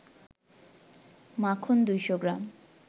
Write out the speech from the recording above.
মাখন ২০০ গ্রাম